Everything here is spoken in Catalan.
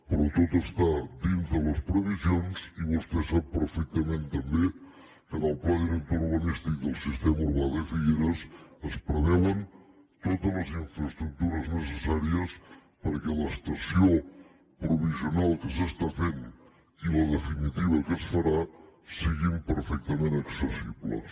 però tot està dintre les previsions i vostè sap perfectament també que en el pla director urbanístic del sistema urbà de figueres es preveuen totes les infraestructures necessàries perquè l’estació provisional que s’està fent i la definitiva que es farà siguin perfectament accessibles